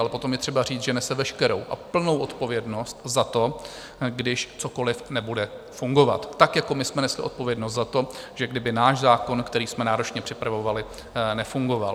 Ale potom je třeba říct, že nese veškerou a plnou odpovědnost za to, když cokoliv nebude fungovat, tak jako my jsme nesli odpovědnost za to, že kdyby náš zákon, který jsme náročně připravovali, nefungoval.